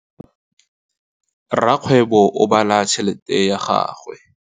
Rakgwêbô o bala tšheletê ya gagwe.